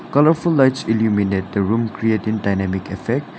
colourful lights illuminate the room create in dynamic effect.